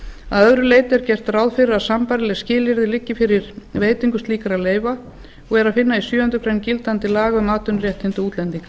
að öðru leyti er gert ráð fyrir að sambærileg skilyrði liggi fyrir veitingu slíkra leyfa og er að finna í sjöundu greinar gildandi laga um atvinnuréttindi útlendinga